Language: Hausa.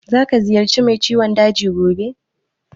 Za ka ziyarci mai ciwon daji gobe?